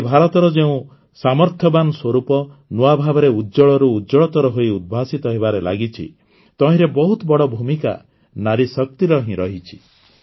ଆଜି ଭାରତର ଯେଉଁ ସାମର୍ଥ୍ୟବାନ ସ୍ୱରୂପ ନୂଆ ଭାବରେ ଉଜ୍ଜ୍ୱଳରୁ ଉଜ୍ଜ୍ୱଳତର ହୋଇ ଉଦ୍ଭାସିତ ହେବାରେ ଲାଗିଛି ତହିଁରେ ବହୁତ ବଡ଼ ଭୂମିକା ନାରୀଶକ୍ତିର ହିଁ ରହିଛି